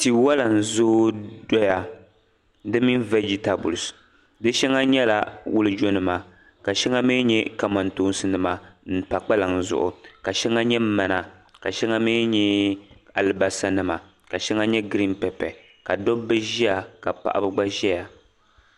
Tiwala n-zooi dɔya di mini vegitabilisi. Di shɛŋa nyɛla wulijonima ka shɛŋa mi nyɛ kamantoosi m-pa kpalaŋa zuɣu ka shɛŋa nyɛ mana ka shɛŋa mi nyɛ alibalisanima ka shɛŋa nyɛ girin pɛpe ka dɔbba ʒia ka paɣiba gba ʒia.